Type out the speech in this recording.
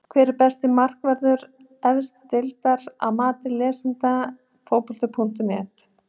Hver er besti markvörður efstu deildar að mati lesenda Fótbolti.net?